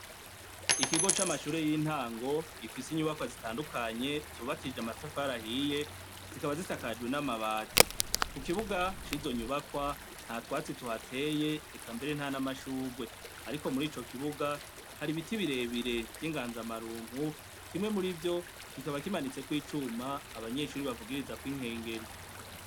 Ikigo c'amashure y'intango gifise inyubakwa zitandukanye zubakishije amatafari ahiye; zikaba zisakajwe n'amabati. Ku kibuga c'izo nyubakwa nta twatsi tuhateye, eka mbere nta n'amashurwe. Ariko muri ico kibuga hari ibiti birebire vy'inganza marumpu, kimwe muri vyo kikaba kimanitseko icuma, abanyeshuri bavugirizako inkengeri.